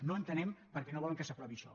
no entenem per què no volen que s’aprovi això